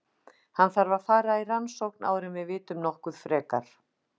Hann þarf að fara í rannsókn áður en við vitum nokkuð frekar.